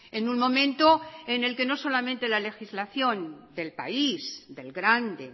en un momento en el que no solamente la legislación del país del grande